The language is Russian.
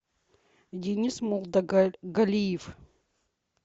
денис мулдагалиев